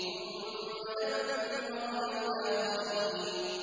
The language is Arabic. ثُمَّ دَمَّرْنَا الْآخَرِينَ